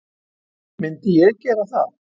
Myndi ég gera það?